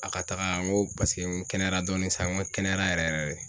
A ka taga ŋo paseke n kɛnɛyara dɔɔnin san ŋo n kɛnɛyara yɛrɛ yɛrɛ de.